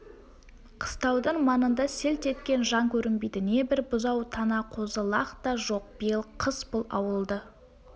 қыстаудың маңында селт еткен жан көрінбейді не бір бұзау-тана қозы-лақ та жоқ биыл қыс бұл ауылды